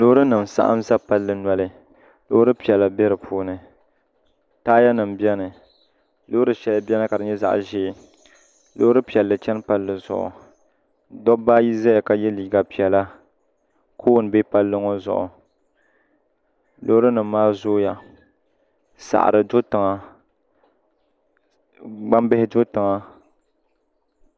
Loori nim n saɣam ʒɛ palli zuɣu Loori piɛla biɛni taaya nim biɛni loori shɛli biɛni ka di nyɛ zaɣ ʒiɛ loori piɛla chɛni palli zuɣu dabba ayi ʒɛya ka yɛliiga piɛla koon bɛ palli ŋɔ zuɣu loori nim maa zooya saɣari do tiŋa gbambihi do tiŋa